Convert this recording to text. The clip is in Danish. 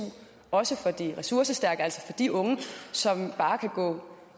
også for de ressourcestærke altså for de unge som bare kan gå på